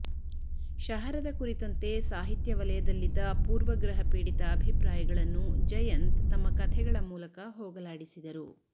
ಶಹರದ ಕುರಿತಂತೆ ಸಾಹಿತ್ಯ ವಲಯದಲ್ಲಿದ್ದ ಪೂರ್ವಗ್ರಹ ಪೀಡಿತ ಅಭಿಪ್ರಾಯಗಳನ್ನು ಜಯಂತ್ ತಮ್ಮ ಕಥೆಗಳ ಮೂಲಕ ಹೋಗಲಾಡಿಸಿದರು